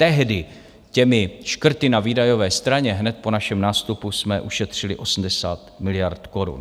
Tehdy těmi škrty na výdajové straně hned po našem nástupu jsme ušetřili 80 miliard korun.